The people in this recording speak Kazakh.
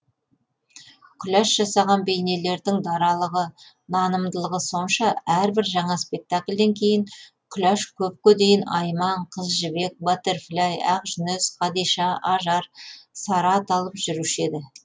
күләш жасаған бейнелердің даралығы нанымдылығы сонша әрбір жаңа спектакльден кейін күләш көпке дейін айман қыз жібек баттерфляй ақжүніс қадиша ажар сара аталып жүруші еді